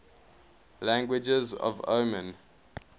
languages of oman